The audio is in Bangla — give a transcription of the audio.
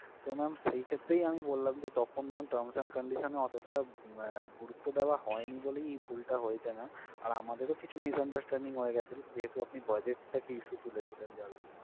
তো ma'am সেই ক্ষেত্রেই আমি বললাম যে তখন terms and conditions এ অতটা গুরুত্ব দেওয়া হয়নি বলেই এই ভুল টা হয়েছে ma'am আর আমাদেরও কিছু misunderstanding হয়ে গেছিল যেহেতু আপনি budget টাকে issue তুলেছিলেন যার জন্য।